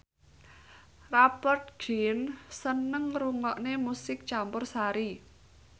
Rupert Grin seneng ngrungokne musik campursari